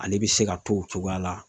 Ale bɛ se ka to o cogoya la